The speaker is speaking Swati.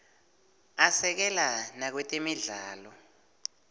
asekela nakwetemidlalo